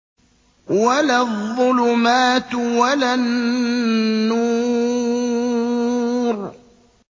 وَلَا الظُّلُمَاتُ وَلَا النُّورُ